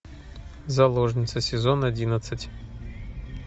заложница сезон одиннадцать